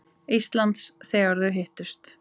Íslands, þegar þau hittust.